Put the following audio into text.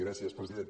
gràcies president